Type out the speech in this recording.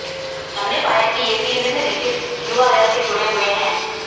हमने पाया कि ये तीन निम्नलिखित यूआरएल से जुड़े हुए हैं